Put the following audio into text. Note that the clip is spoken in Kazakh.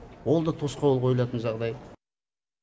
ол да тосқауыл қойылатын жағдай